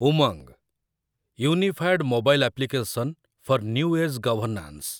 Umang, unified mobile application for new age governance